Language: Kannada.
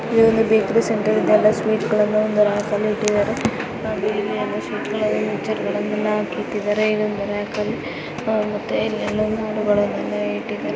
ಈ ಒಂದು ಬೇಕರಿ ಸೆಂಟರ್. ಇದೆಲ್ಲಾ ಸ್ವೀಟ್ಗಳನ್ನು